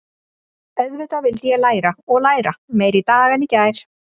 Auðvitað vildi ég læra og læra, meira í dag en í gær.